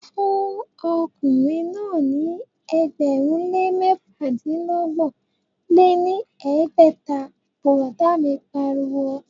Fún ọkùnrin náà ní ẹgbẹ̀rún lé mẹ́fàdínọgbọ̀n lé ní ẹgbẹ́ta,, bùrọ̀dá mi pariwo